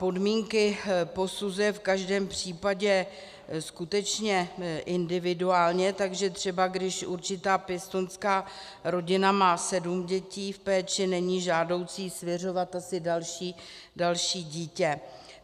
Podmínky posuzuje v každém případě skutečně individuálně, takže třeba když určitá pěstounská rodina má sedm dětí v péči, není žádoucí svěřovat asi další dítě.